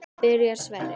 Byrjar Sverrir?